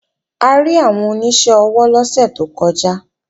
A rí àwọn oníṣẹ́ ọwọ́ lọ́sẹ̀ tó kọjá